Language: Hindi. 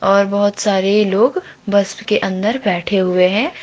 और बहोत सारे लोग बस के अंदर बैठे हुए हैं।